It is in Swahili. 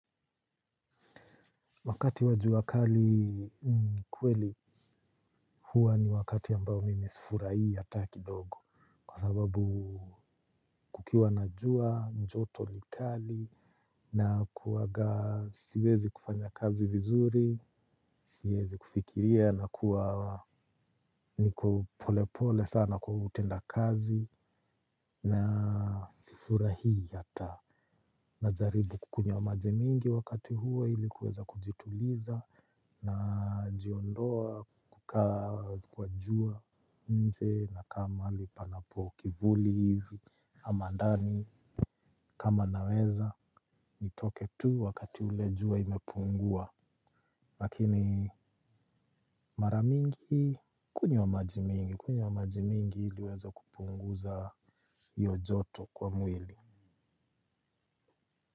Wakati wajua kali kweli huwa ni wakati ambao mimi sifurai hata kidogo. Kwa sababu kukiwa na jua, njoto ni kali na kuwaga siwezi kufanya kazi vizuri. Siwezi kufikiria na kuwa ni kopolepole sana kwa utenda kazi. Na sifurai hata najaribu kukunywa maji mingi wakati huwo ilikuweza kujituliza na jiondoa kuka kwajua nje naka mali panapo kivuli hivi ama ndani kama naweza nitoke tu wakati ule jua imepungua lakini maramingi kunywa majimingi kunywa majimingi iliweza kupunguza iyo joto kwa mwili.